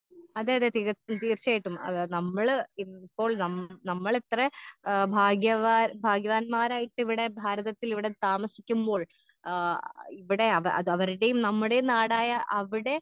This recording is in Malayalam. അതെയതെ തിക തീർച്ചയായിട്ടും അത് നമ്മള് ഇപ്പോൾ നം നമ്മളിത്രെ ഏ ഭാഗ്യവാൻ ഭാഗ്യവാന്മാരായിട്ടിവിടെ ഭാരതത്തിലിവിടെ താമസിക്കുമ്പോൾ ആ ഇവിടെ അവ അത് അവര്ടേം നമ്മടേം നാടായ അവിടെ.